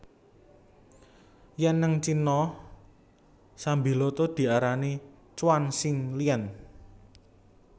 Yèn ing Cina sambiloto diarani chuan xin lien